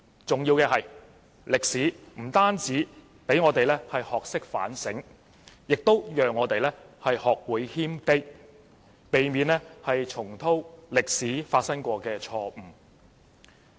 重要的是，歷史不單讓我們學會反省，也讓我們學會謙卑，避免重蹈歷史上發生過的錯誤。